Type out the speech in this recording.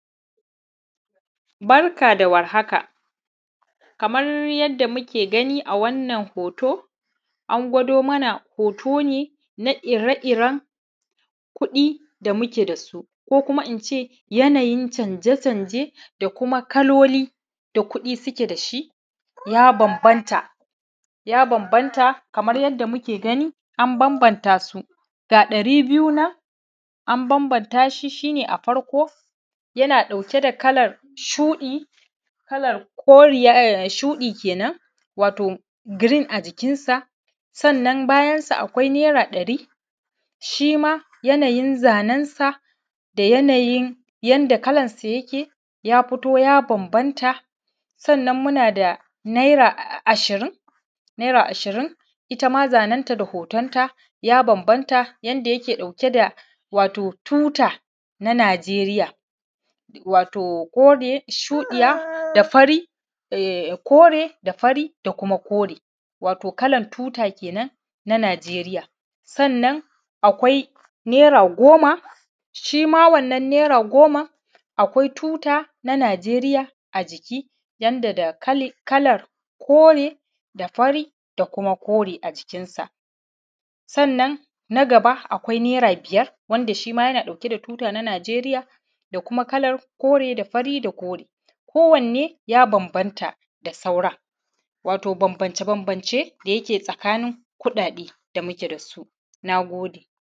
Barka dawar haka, Kaman yadda muke gani a wannan hoto an gwado mana hoto ne nia ire iren kuɗi da muke dasu ko kuma ince yanayi canje canje da kuma kaloli ya banbanta, ya banbanta kamar yadda muke gani an banbanta su ga ɗari biyu nan an banbanta shi, shine a farko dauke da kalan shuɗi kalan koriya shuɗi kenan wato girin a jikin sa. Sannan bayansa akwai naira ɗari shima yanayin zanen sa da yanayin yanda kalan su yike ya fito ya banbanta. Sannan munada naira ashirin, ittama zanen ta da hoton ta ya banbanta yanda yake ɗauke da wato tuta na najeriya, wato kore shuɗiya da fari, da kore da fari da kuma kore wato kalan tuta kenan ta najeriya. Sannan akwai naira goma shima wannan naira goman akwai tuta na najeriya a jiki yanda da kalar kore da fari da kuma kore a jikin sa. Sannan na gaba akwai naira biyar wanda shima yana ɗauke da tuta na najeriya da kalar kore da fari da kuma kore, ko wanne ya banbanta da sauran wato banbance banbance da yake tsakanin kuɗa ɗe da muke dasu. Nagode